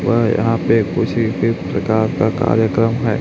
व यहाॅं पे कुछ ही इसी प्रकार का कार्यक्रम हैं।